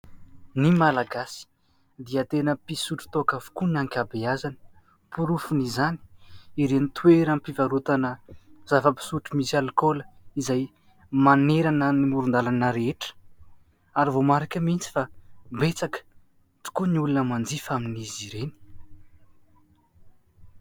Ny Malagasy dia tena mpisotro toaka avokoa ny ankabeazany, porofon'izany ireny toeram-pivarotana zava-pisotro misy alikaola izay manerana ny moron-dalana rehetra, ary voamarika mihitsy fa betsaka tokoa ny olona manjifa amin'izy ireny.